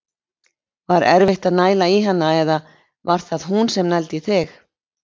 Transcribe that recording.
Var erfitt að næla í hana eða var það hún sem að nældi í þig?